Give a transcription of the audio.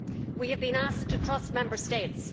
We have been asked to trust Member States.